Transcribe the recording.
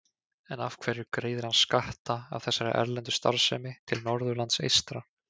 En af hverju greiðir hann skatta af þessari erlendu starfsemi til Norðurlands eystra?